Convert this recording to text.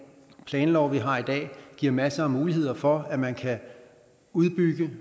planlov vi har i dag giver masser af muligheder for at man kan udbygge